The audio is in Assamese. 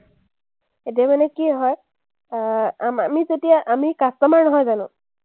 এতিয়া মানে কি হয়, আহ আমি যেতিয়া আমি customer নহয় জানো?